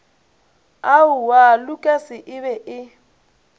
aowaa lukas e be e